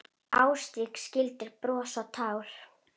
Ástrík skildir bros og tár.